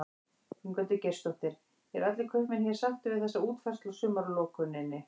Ingveldur Geirsdóttir: Eru allir kaupmenn hér sáttir við þessa útfærslu á sumarlokuninni?